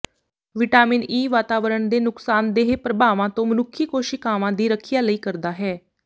vitamin E ਵਾਤਾਵਰਣ ਦੇ ਨੁਕਸਾਨਦੇਹ ਪ੍ਰਭਾਵਾਂ ਤੋਂ ਮਨੁੱਖੀ ਕੋਸ਼ੀਕਾਵਾਂ ਦੀ ਰੱਖਿਆ ਲਈ ਕਰਦਾ ਹੈ